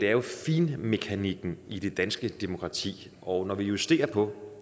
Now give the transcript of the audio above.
er jo finmekanikken i det danske demokrati og når vi justerer på